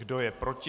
Kdo je proti?